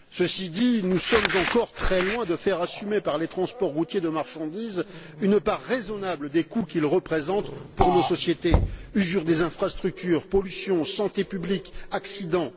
Ceci dit, nous sommes encore très loin de faire assumer par les transports routiers de marchandises une part raisonnable des coûts qu'ils représentent pour nos sociétés usure des infrastructures, pollution, santé publique, accidents.